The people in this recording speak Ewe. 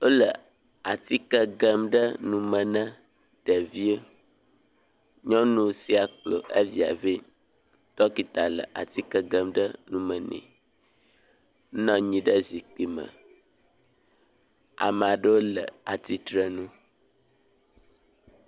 Wole atikɛ gem ɖe nume na ɖeviwo. Nyɔnu sia kplɔ evia vɛ. Ɖɔkita le atikɛ gem ɖe nu me ne. Enɔ anyi ɖe zikpui me. Me aɖewo le tsitre nu.